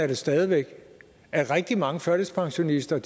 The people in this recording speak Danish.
det stadig væk at rigtig mange førtidspensionister